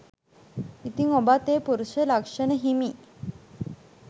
ඉතිං ඔබත් ඒ පුරුෂ ලක්ෂණ හිමි